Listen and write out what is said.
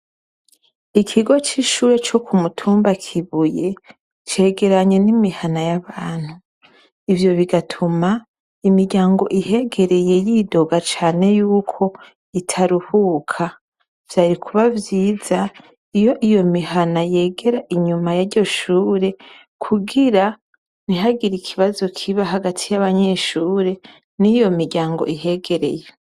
Ikigo c'ishure co ku mutumba Kibuye cegeranye n'imihana y'abantu. Ivyo bigatuma imiryango ihegereye yidoga cane y'uko itaruhuka. Vyari kuba vyiza iyo iyo mihana yegera inyuma y'iryo shure kugira ntihagire ikibazo kiba hagati y'abanyeshure n'iyo miryango ihegereye.